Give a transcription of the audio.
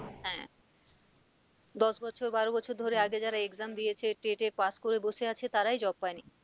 হ্যাঁ দশ বছর, বারো বছর ধরে আগে যারা exam দিয়েছে TET এ pass করে বসে আছে তারাই job পাইনি